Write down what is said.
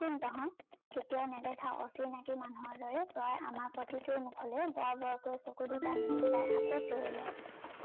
কোন তহত, কেতিয়াও নেদেখা অচিনাকি মানুহৰ দৰে তই আমাৰ প্ৰতিটোৰ মোখলৈ বৰ বৰকৈ চকু গিতা মেলি চাই আকৌ চিঞৰিলে